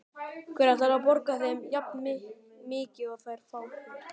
Hver ætlar að borga þeim jafnmikið og þeir fá hér?